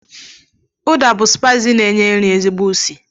Ụda bụ spiis na-enye nri ezigbo usi.